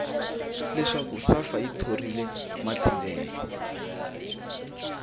leswaku safa yi thorile matsilele